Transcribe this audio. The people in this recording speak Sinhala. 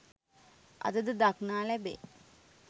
අදද දක්නා ලැබේ